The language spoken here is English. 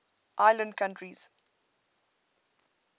island countries